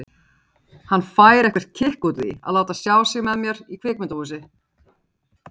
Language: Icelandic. Hann fær eitthvert kikk út úr því að láta sjá sig með mér í kvikmyndahúsi.